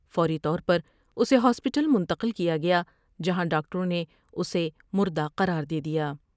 فوری طور پر اسے ہاسپٹل منتقل کیا گیا جہاں ڈاکٹروں نے اسے مردہ قرار دے دیا ۔